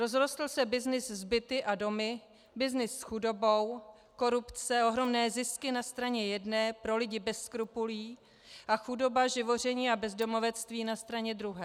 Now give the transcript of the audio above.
Rozrostl se byznys s byty a domy, byznys s chudobou, korupce, ohromné zisky na straně jedné pro lidi bez skrupulí a chudoba, živoření a bezdomovectví na straně druhé.